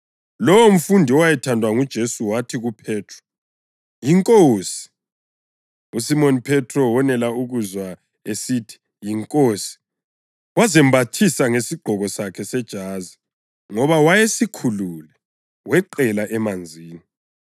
Lowomfundi owayethandwa nguJesu wathi kuPhethro, “YiNkosi!” USimoni Phethro wonela ukuzwa esithi, “YiNkosi,” wazembathisa ngesigqoko sakhe sejazi (ngoba wayesikhulule) weqela emanzini.